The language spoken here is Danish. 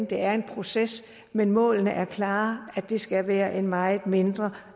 det er en proces men målene er klare at det skal være en meget mindre